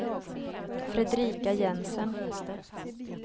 Fredrika Jensen